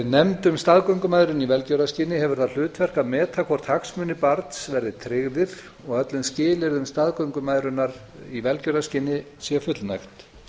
nefnd um staðgöngumæðrun í velgjörðarskyni hefur það hlutverk að meta hvort hagsmunir barns verði tryggðir og öllum skilyrðum staðgöngumæðrunar í velgjörðarskyni sé fullnægt